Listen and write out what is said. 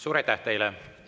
Suur aitäh teile!